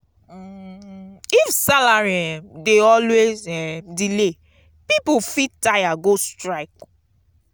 if salary um dey always um delay pipo fit tire go strike.